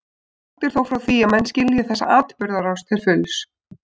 Langt er þó frá því að menn skilji þessa atburðarás til fulls.